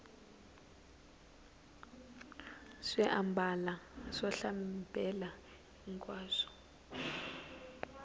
swi ambala swo hlambela hiswona